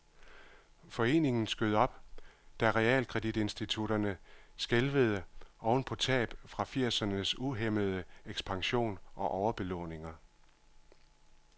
Foreningen skød op, da realkreditinstitutterne skælvede oven på tab fra firsernes uhæmmede ekspansion og overbelåninger.